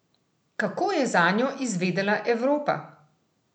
Kako je zanjo izvedela Evropa?